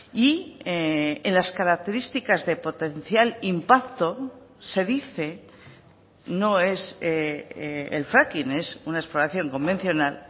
y en las características de potencial impacto se dice no es el fracking es una exploración convencional